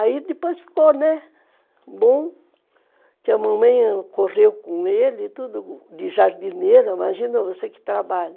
Aí depois ficou, né, bom, que a mamãe correu com ele, tudo de jardineira, imagina você que trabalha,